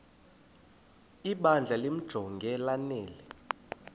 ibandla limjonge lanele